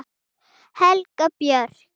Helga Björk.